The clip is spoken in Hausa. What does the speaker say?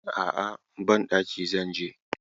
A'a, banɗaki zan je.